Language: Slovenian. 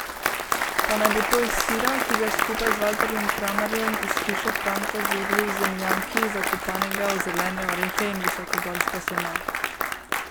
Pa naj bo to iz sira, ki ga skupaj z Valterjem Kramarjem iz Hiše Franko zori v zemljanki, zakopanega v zelene orehe in visokogorsko seno.